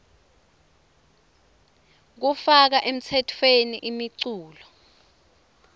kufaka emtsetfweni imiculu